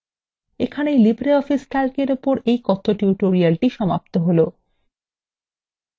এখানেই libreoffice calc এর উপর এই কথ্য tutorial সমাপ্ত হল